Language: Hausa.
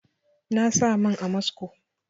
Na sa man amasco